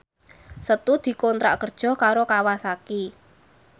Setu dikontrak kerja karo Kawasaki